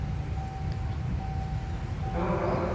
શું શું?